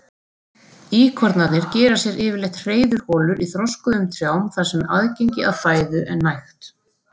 Íkornarnir gera sér yfirleitt hreiðurholur í þroskuðum trjám þar sem aðgengi að fæðu er nægt.